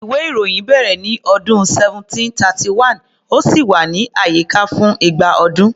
Ìwé-ìròyìn bẹ̀rẹ̀ ní ọdún 1731, ó sì wà ní àyíká fún igba ọdún.